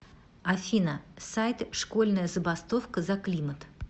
афина сайт школьная забастовка за климат